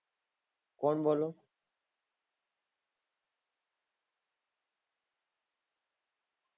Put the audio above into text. કોણ બોલો